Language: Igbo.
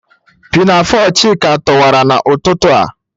Pinafo Chika toọwara n'ututu a.